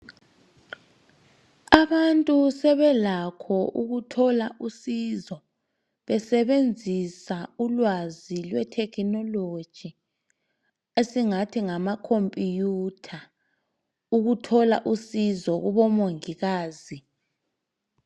abantu sebelakho ukuthola usizo besebenzisa ulwazi lwe technology esingath ngama computer ukuthola usizo kubo mongikazi